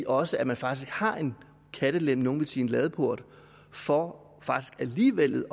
også at man faktisk har en kattelem nogle ville sige en ladeport for faktisk alligevel